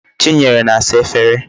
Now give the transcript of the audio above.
Chinyere na-asa Efere